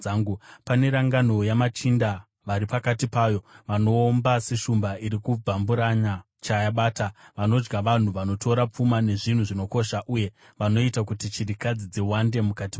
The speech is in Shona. Pane rangano yamachinda vari pakati payo vanoomba seshumba iri kubvamburanya chayabata; vanodya vanhu, vanotora pfuma nezvinhu zvinokosha uye vanoita kuti chirikadzi dziwande mukati mayo.